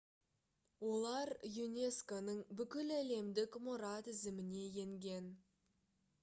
олар юнеско-ның бүкіләлемдік мұра тізіміне енген